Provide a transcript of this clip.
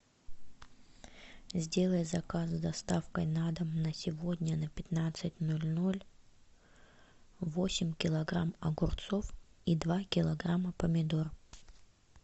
сделай заказ с доставкой на дом на сегодня на пятнадцать ноль ноль восемь килограмм огурцов и два килограмма помидор